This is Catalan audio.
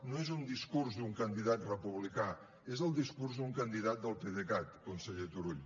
no és un discurs d’un candidat republicà és el discurs d’un candidat del pdecat conseller turull